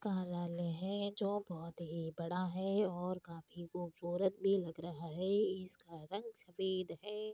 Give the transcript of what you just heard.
जो बहुत ही बड़ा है और काफी खूबसूरत भी लग रहा है इसका रंग सफ़ेद है |